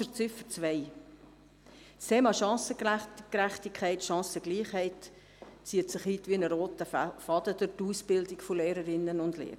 Zu Ziffer 2: Das Thema Chancengerechtigkeit/Chancengleichheit zieht sich wie ein roter Faden durch die Ausbildung von Lehrerinnen und Lehrern.